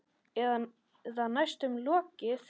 Eða næstum lokið.